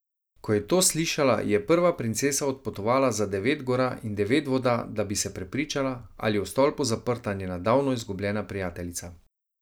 Ko je to slišala, je prva princesa odpotovala za devet gora in devet voda, da bi se prepričala, ali je v stolpu zaprta njena davno izgubljena prijateljica.